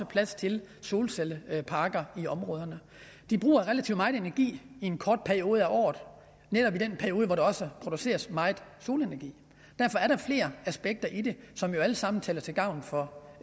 plads til solcelleparker de bruger relativt meget energi i en kort periode af året netop i den periode hvor der også produceres meget solenergi derfor er der flere aspekter i det som jo alle sammen taler til gavn for